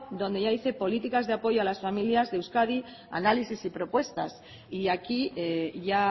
donde ya dice políticas de apoyo a las familias de euskadi análisis y propuestas y aquí ya